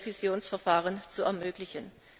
Revisionsverfahren zu ermöglichen.